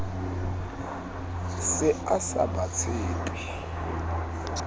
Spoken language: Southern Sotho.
se a sa ba tshepe